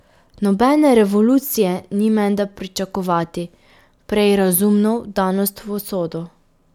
Nobene revolucije ni menda pričakovati, prej razumno vdanost v usodo.